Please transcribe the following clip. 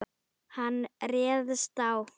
Hann réðst á